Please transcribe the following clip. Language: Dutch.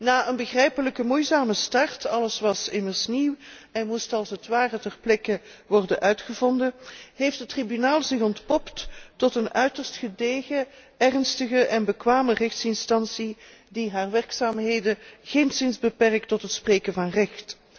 Na een begrijpelijke moeizame start alles was immers nieuw en moest als het ware ter plekke worden uitgevonden heeft het Tribunaal zich ontpopt tot een uiterst gedegen, ernstig en bekwaam rechtsorgaan dat zijn werkzaamheden geenszins beperkt tot het spreken van recht.